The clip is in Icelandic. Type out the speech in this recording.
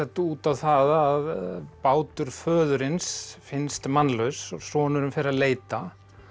út á það að bátur föðurins finnst mannlaus og sonurinn fer að leita